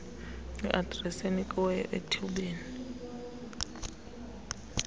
adresi enikiweyo ethubeni